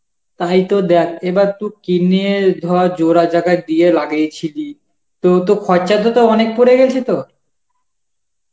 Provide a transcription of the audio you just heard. তাই তো দেখ এবার তু কি নিয়ে ধর জোড়া জাগা দিয়ে লাগিয়েছিলি তো তোর খরচাতে তো অনেক পরে গেছে তো?